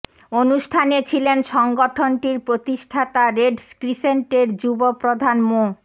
অনুষ্ঠানে ছিলেন সংগঠনটির প্রতিষ্ঠাতা রেড ক্রিসেন্টের যুব প্রধান মো